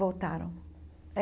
Voltaram.